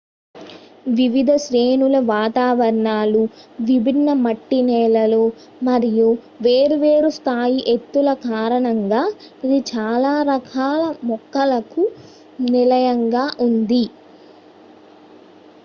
వివిధ శ్రేణుల వాతావరణాలు విభిన్న మట్టి నేలలు మరియు వేరువేరు స్థాయి ఎత్తుల కారణంగా ఇది చాలా రకాల మొక్కలకు నిలయంగా ఉంది